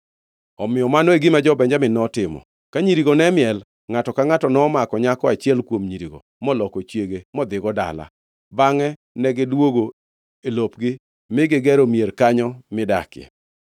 Omiyo mano e gima ne jo-Benjamin notimo. Ka nyirigo ne miel, ngʼato ka ngʼato nomako nyako achiel kuom nyirigo moloko chiege modhigo dala. Bangʼe negidwogo e lopgi mi gigero mier kanyo midakie.